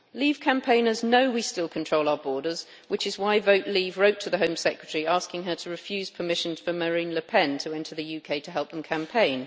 Leave campaigners know we still control our borders, which is why Vote Leave wrote to the Home Secretary asking her to refuse permission for Marine Le Pen to enter the UK to help them campaign.